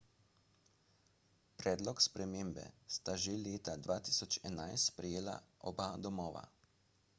predlog spremembe sta že leta 2011 sprejela oba domova